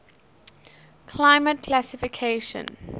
climate classification cfa